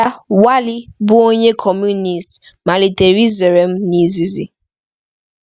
Di ya, Wally, bụ onye Kọmunist, malitere izere m n'izịzị.